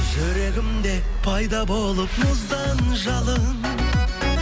жүрегімде пайда болып мұздан жалын